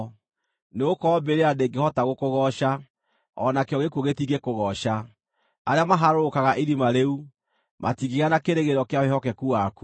Nĩgũkorwo mbĩrĩra ndĩngĩhota gũkũgooca, o nakĩo gĩkuũ gĩtingĩkũgooca; arĩa maharũrũkaga irima rĩu matingĩgĩa na kĩĩrĩgĩrĩro kĩa wĩhokeku waku.